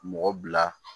Mɔgɔ bila